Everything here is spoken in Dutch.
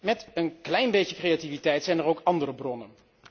Met een klein beetje creativiteit zijn er ook andere bronnen.